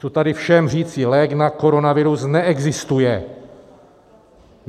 Chci tady všem říci - lék na koronavirus neexistuje!